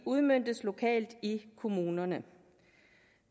udmøntes lokalt i kommunerne